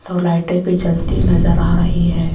दो लाइटें भी जलती नजर आ रही है।